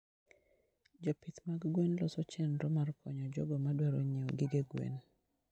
Jopith mag gwen loso chenro mar konyo jogo madwaro nyiewo gige gwen.